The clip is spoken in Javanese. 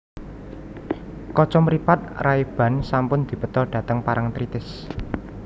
Kacamripat Rayban sampun dibeta dateng Parangtritis